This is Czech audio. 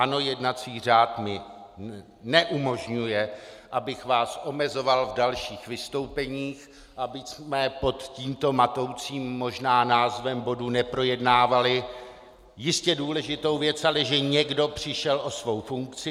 Ano, jednací řád mi neumožňuje, abych vás omezoval v dalších vystoupeních, abychom pod tímto matoucím možná názvem bodu neprojednávali jistě důležitou věc, ale že někdo přišel o svou funkci.